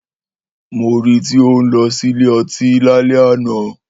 Mó rí tí o n lõsí ìlé õtí làlè ànõ